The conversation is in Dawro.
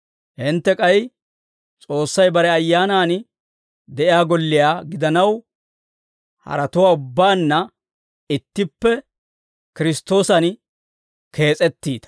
Hintte k'ay S'oossay bare Ayyaanan de'iyaa golliyaa gidanaw, haratuwaa ubbaanna ittippe Kiristtoosan kees'ettiita.